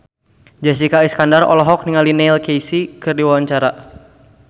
Jessica Iskandar olohok ningali Neil Casey keur diwawancara